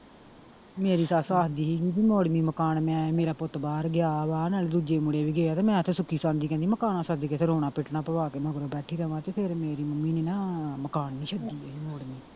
ਮੇਰੇ ਸੱਸ ਆਖਦੀ ਸੀ ਜੀ ਮੋੜਵੀਂ ਮਕਾਨ ਮੈਂ ਮੇਰਾ ਪੁੱਤ ਬਹਾਰ ਗਿਆ ਵਾ ਨਾਲ ਦੂਜੇ ਮੁੰਡੇ ਵੀ ਗਏ ਆ ਮੈਂ ਤੇ ਸੁਖੀ ਸਾਂਦੀ ਕਹਿੰਦੀ ਮਕਾਨਾਂ ਸੱਦ ਤੇ ਰੋਣਾ ਪਿਟਣਾ ਪਵਾ ਵਾ ਕੇ ਮੈਂ ਹੁਣ ਬੈਠੀ ਰਵਾਂ ਤੇ ਫਿਰ ਮੇਰੀ ਮੰਮੀ ਨੀ ਨਾ ਮਕਾਨ .